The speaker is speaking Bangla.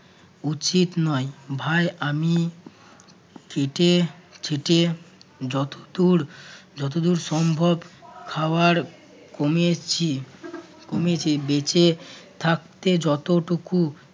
উচিত নয়। ভাই আমি চেটে চেটে যতদূর যতদূর সম্ভব খাবার কমিয়েছি কমিয়েছে বেঁচে থাকতে যতটুকু